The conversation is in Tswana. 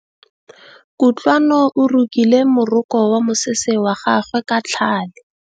Kutlwanô o rokile morokô wa mosese wa gagwe ka tlhale.